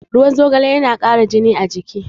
Ruwan zogale yana ƙaramin jini a jiki.